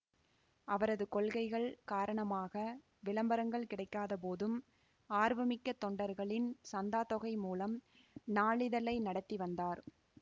அவரது கொள்கைகள் காரணமாக விளம்பரங்கள் கிடைக்காதபோதும் ஆர்வமிக்க தொண்டர்களின் சந்தாத்தொகை மூலம் நாளிதழை நடத்தி வந்தார்